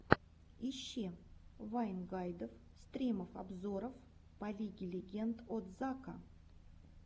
ищи вайн гайдов стримов обзоров по лиге легенд от зака